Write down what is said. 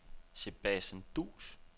Sebastian Duus